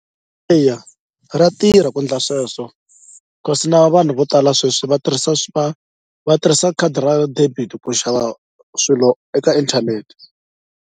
Eya ra tirha ku ndla sweswo kasi na vanhu vo tala sweswi va tirhisa va va tirhisa khadi ra debit ku xava swilo eka inthanete.